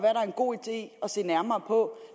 er en god idé at se nærmere på